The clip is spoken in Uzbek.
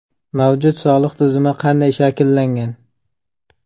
Mavjud soliq tizimi qanday shakllangan?